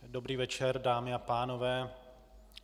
Dobrý večer, dámy a pánové.